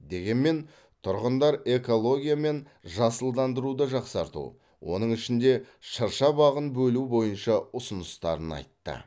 дегенмен тұрғындар экология мен жасылдандыруды жақсарту оның ішінде шырша бағын бөлу бойынша ұсыныстарын айтты